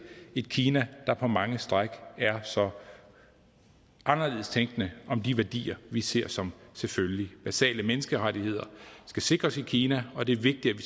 et kina der på mange stræk er så anderledes tænkende om de værdier vi ser som selvfølgelige basale menneskerettigheder skal sikres i kina og det er vigtigt at